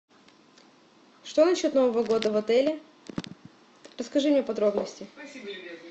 что насчет нового года в отеле расскажи мне подробности